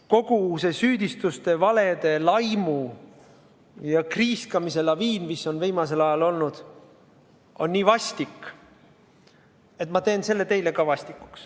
Kogu see süüdistuste, valede, laimu ja kriiskamise laviin, mis viimasel ajal on olnud, on nii vastik, et ma teen selle teile ka vastikuks.